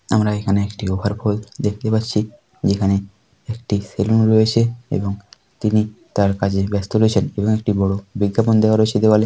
আমরা এখানে একটি ওভার পুল দেখতে পাচ্ছি যেখানে একটি সেলুন রয়েছে এবং তিনি তার কাজে ব্যস্ত রয়েছেন এবং একটি বড় বিজ্ঞাপন দেওয়া রয়েছে দেওয়াল।